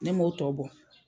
Ne ma o tɔ bɔ.